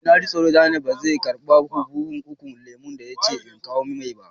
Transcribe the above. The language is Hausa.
Eh, na ji tsoro Daniel ba zai karba buhun ukun lemu da ya ce in kawo mai.